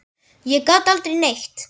Ég gat aldrei neitt.